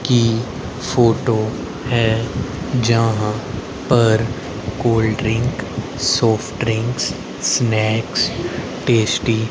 की फोटो है जहां पर cold drink soft drink snacks tasty --